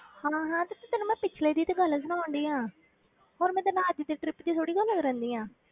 ਹਾਂ ਹਾਂ ਤੇ ਤੈਨੂੰ ਮੈਂ ਪਿੱਛਲੇ ਦੀ ਤੇ ਗੱਲ ਸੁਣਾਉਂਦੀ ਹਾਂ ਹੋਰ ਮੈਂ ਤੇਰੇ ਨਾਲ ਅੱਜ ਦੀ trip ਦੀ ਥੋੜ੍ਹੀ ਗੱਲ ਕਰਦੀ ਹਾਂ।